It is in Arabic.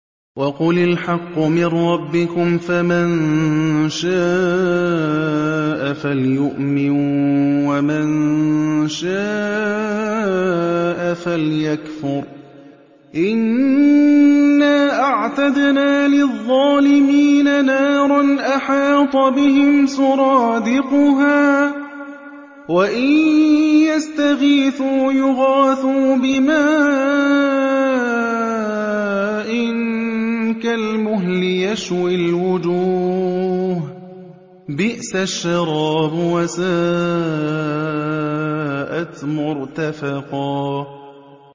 وَقُلِ الْحَقُّ مِن رَّبِّكُمْ ۖ فَمَن شَاءَ فَلْيُؤْمِن وَمَن شَاءَ فَلْيَكْفُرْ ۚ إِنَّا أَعْتَدْنَا لِلظَّالِمِينَ نَارًا أَحَاطَ بِهِمْ سُرَادِقُهَا ۚ وَإِن يَسْتَغِيثُوا يُغَاثُوا بِمَاءٍ كَالْمُهْلِ يَشْوِي الْوُجُوهَ ۚ بِئْسَ الشَّرَابُ وَسَاءَتْ مُرْتَفَقًا